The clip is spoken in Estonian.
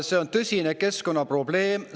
See on tõsine keskkonnaprobleem.